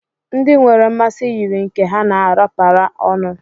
ndị nwere mmasị yiri nke ha na-arapara ọnụ